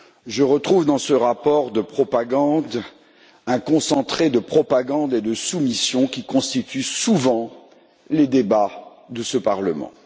Je retrouve dans ce rapport de propagande un concentré de propagande et de soumission, qui constituent souvent les débats de ce Parlement.